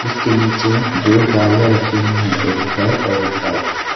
इसके नीचे दो गाड़ियां रखी हुई है एक ब्लैक और एक व्हाइट ।